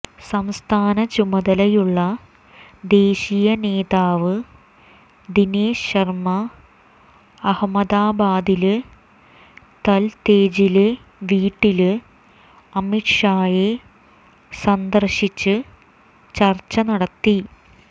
സംസ്ഥാന ചുമതലയുള്ള ദേശീയ നേതാവ് ദിനേശ് ശര്മ അഹമ്മദാബാദില് തല്തേജിലെ വീട്ടില് അമിത് ഷായെ സന്ദര്ശിച്ച് ചര്ച്ച നടത്തി